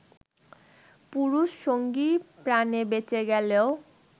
পুরুষ সঙ্গী প্রাণে বেঁচে গেলেও